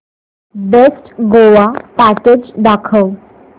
best Goa package दाखव